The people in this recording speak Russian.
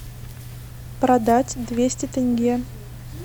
продать двести тенге